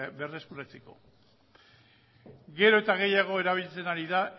berreskuratzeko gero eta gehiago erabiltzen ari da